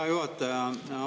Hea juhataja!